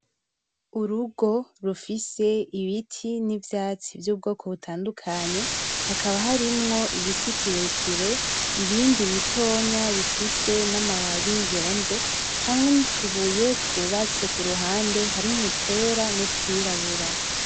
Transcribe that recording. Urugo rufise ibiti n'ivyatsi vy'ubwoko butandukanye, hakaba harimwo igiti kirekire , ibindi bitoya bifise n'amababi yonze, hamwe n'utubuye twubatse kuruhande harimwo utwera n'utwirabura.